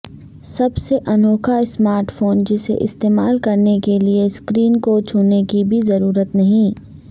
سب سے انوکھاسمارٹ فون جسے استعمال کرنے کے لیے سکرین کوچھونے کی بھی ضرورت نہیں